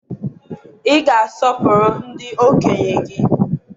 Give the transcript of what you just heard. ị ga-asọpụrụ ndị okenye gị!